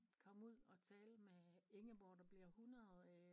Komme ud at tale med Ingeborg der bliver 100 øh